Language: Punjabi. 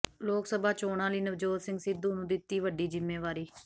ਲੋਕ ਸਭਾ ਚੋਣਾਂ ਲਈ ਨਵਜੋਤ ਸਿੰਘ ਸਿੱਧੂ ਨੂੰ ਦਿੱਤੀ ਵੱਡੀ ਜ਼ਿੰਮੇਵਾਰੀ